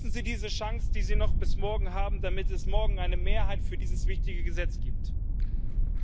Nutzen Sie diese Chance, die Sie noch bis morgen haben, damit es morgen eine Mehrheit für diese wichtige Richtlinie gibt.